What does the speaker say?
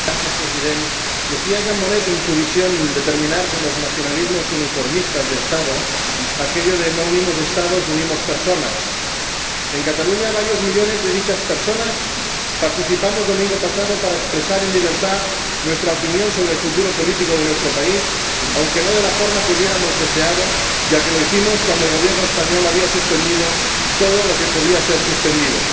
Señor Presidente, decía Jean Monnet, desde su visión de terminar con los nacionalismos uniformistas de Estado, aquello de no unimos Estados, unimos personas. En Cataluña, varios millones de dichas personas participamos el domingo pasado en una consulta para expresar en libertad nuestra opinión sobre el futuro político de nuestro país, aunque no de la forma que hubiéramos deseado, ya que lo hicimos cuando el Gobierno español había suspendido todo lo que podía ser suspendido.